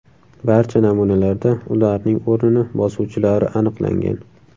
Barcha namunalarda ularning o‘rnini bosuvchilari aniqlangan.